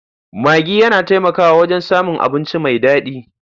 Maggi yana taimakawa wajen samun abinci mai daɗi.